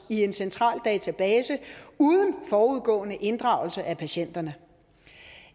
i en central database uden forudgående inddragelse af patienterne